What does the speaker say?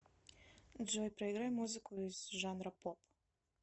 джой проиграй музыку из жанра поп